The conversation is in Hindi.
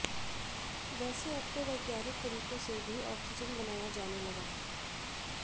वैसे अब तो वैज्ञानिक तरीकों से भी ऑक्सीजन बनाया जाने लगा है